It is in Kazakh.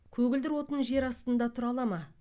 көгілдір отын жер астында тұра ала ма